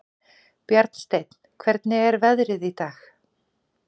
Bjarnsteinn, hvernig er veðrið í dag?